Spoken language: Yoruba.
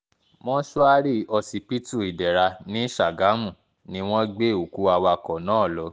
mọ́sùárì ọsibítù ìdẹ̀ra ní ṣàgámù ni wọ́n gbé òkú awakọ̀ náà lọ